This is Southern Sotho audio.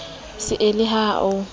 se e le ha o